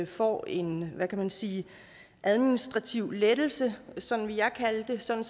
får en hvad kan man sige administrativ lettelse sådan vil jeg kalde det sådan